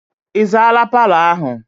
Ị zaala paalọ ahụ?